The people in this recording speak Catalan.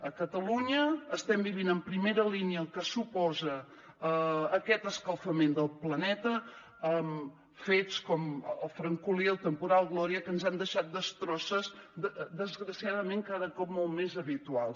a catalunya estem vivint en primera línia el que suposa aquest escalfament del planeta amb fets com el francolí el temporal gloria que ens han deixat destrosses desgraciadament cada cop molt més habituals